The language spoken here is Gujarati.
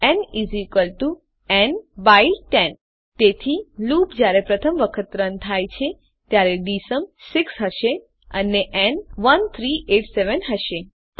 ન ન 10 તેથી લૂપ જયારે પ્રથમ વખત રન થાય છે ત્યારેdSum 6 હશે અને ન 1387 હશે